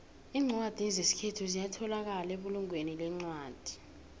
incwadi zesikhethu ziyatholakala ebulungweni lencwadi